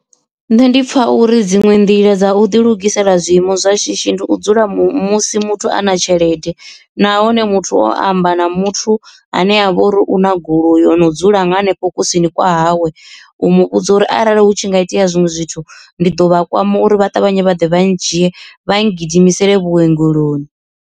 Nṋe ndi pfha uri dziṅwe nḓila dza u ḓi lugisela zwiiimo zwa shishi ndi u dzula musi muthu a na tshelede nahone muthu o amba na muthu ane ha vha uri una goloi o no dzula henefho kusini kwa hawe u mu vhudza uri arali hu tshi nga itea zwinwe zwithu ndi ḓo vha a kwama uri vha ṱavhanye vhaḓe vha ndzhiye vha gidimisele vhuongeloni.